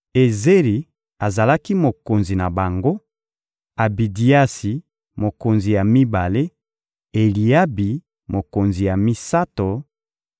Ezeri azalaki mokonzi na bango; Abidiasi, mokonzi ya mibale; Eliabi, mokonzi ya misato;